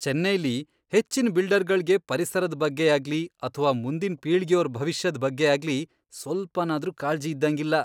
ಚೆನ್ನೈಲಿ ಹೆಚ್ಚಿನ್ ಬಿಲ್ಡರ್ಗಳ್ಗೆ ಪರಿಸರದ್ ಬಗ್ಗೆಯಾಗ್ಲಿ ಅಥ್ವಾ ಮುಂದಿನ್ ಪೀಳ್ಗೆಯೋರ್ ಭವಿಷ್ಯದ್ ಬಗ್ಗೆಯಾಗ್ಲಿ ಸ್ವಲ್ಪನಾದ್ರೂ ಕಾಳ್ಜಿ ಇದ್ದಂಗಿಲ್ಲ.